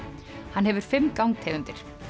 hann hefur fimm gangtegundir